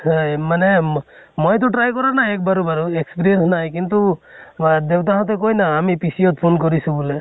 হয় মানে মইতো try কৰা নাই এক বাৰো বাৰু, experience নাই। কিন্তু মা দেউতা হতে কয় ন আমি PCO ত phone কৰিছো বুলে।